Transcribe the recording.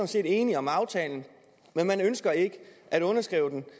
set enige om aftalen men man ønsker ikke at underskrive den